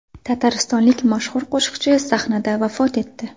Tataristonlik mashhur qo‘shiqchi sahnada vafot etdi .